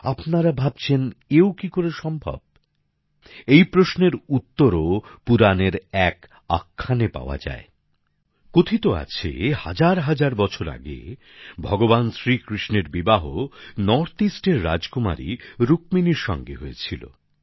আপনারা ভাবছেন এও কী করে সম্ভব এই প্রশ্নের উত্তরও পুরাণের এক আখ্যানে পাওয়া যায় কথিত আছে হাজারহাজার বছর আগে ভগবান শ্রী কৃষ্ণের বিবাহ উত্তরপূর্বের রাজকুমারী রুক্মিণীর সঙ্গে হয়েছিল